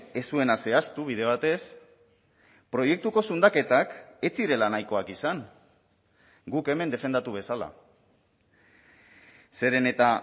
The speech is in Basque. ez zuena zehaztu bide batez proiektuko zundaketak ez zirela nahikoak izan guk hemen defendatu bezala zeren eta